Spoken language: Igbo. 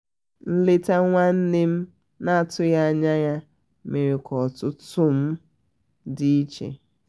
nleta nwanne nne m na atughi anya ya mere ka ọtụtụ m dị iche